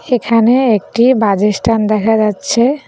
সেখানে একটি বাজেস্ট্যান্ড দেখা যাচ্ছে।